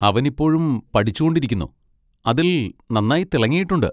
അവൻ ഇപ്പോഴും പഠിച്ചുകൊണ്ടിരിക്കുന്നു, അതിൽ നന്നായി തിളങ്ങിയിട്ടുണ്ട്.